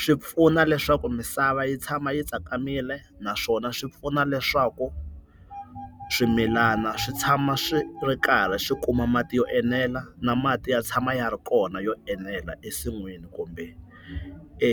Swi pfuna leswaku misava yi tshama yi tsakamile naswona swi pfuna leswaku swimilana swi tshama swi ri karhi swi kuma mati yo enela na mati ya tshama ya ri kona yo enela ensin'wini kumbe e